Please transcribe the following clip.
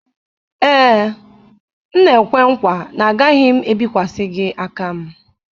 Ee, m na-ekwe nkwa na agaghị m ebikwasị gị aka m